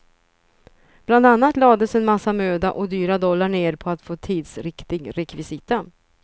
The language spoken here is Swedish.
Bland annat lades en massa möda och dyra dollar ner på att få tidsriktig rekvisita.